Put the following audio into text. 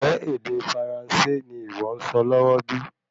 Ńjẹ́ ède Firansé ní ìwọ nsọ lọwọ bí?